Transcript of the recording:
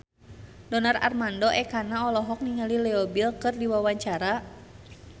Donar Armando Ekana olohok ningali Leo Bill keur diwawancara